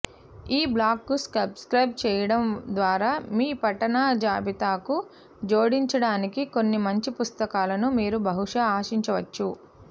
ఈ బ్లాగుకు సబ్స్క్రయిబ్ చేయడం ద్వారా మీ పఠన జాబితాకు జోడించడానికి కొన్ని మంచి పుస్తకాలను మీరు బహుశా ఆశించవచ్చు